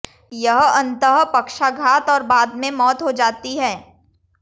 यह अंततः पक्षाघात और बाद में मौत हो जाती है